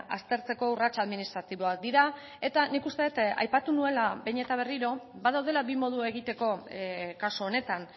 aztertzeko urrats administratiboak dira eta nik uste dut aipatu nuela behin eta berriro badaudela bi modu egiteko kasu honetan